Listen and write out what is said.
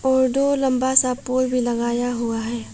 और दो लंबा सा पूल भी लगाया हुआ है।